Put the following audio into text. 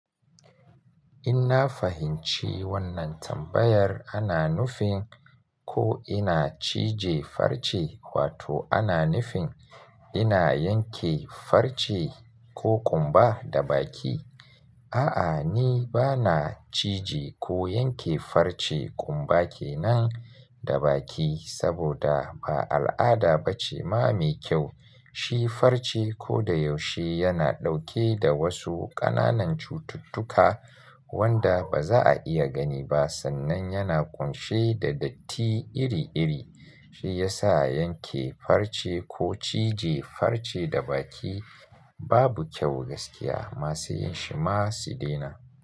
In na fahimci wannan tambayar ana nufin ko ina cije farce wato ana nufin ina yanke farce ko ƙumba da baki. A'a, ni ba na cije ko yanke farce ƙumba kenan da baki saboda ba al'ada ba ce ma mai kyau. Shi farce ko da yaushe yana ɗauke da wasu ƙananan cututtuka wanda baza a iya gani ba sannan yana ƙunshe da datti iri-iri. Shi yasa yanke farce ko cije farce da baki babu kyau gaskiya. Masu yin shi ma su dena.